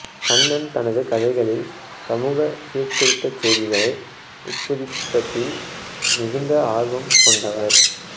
கண்ணன் தனது கதைகளில் சமூக சீர்திருத்த செய்திகளை உட்பொதிப்பதில் மிகுந்த ஆர்வம் கொண்டவர்